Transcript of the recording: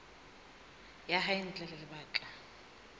ya hae ntle ho lebaka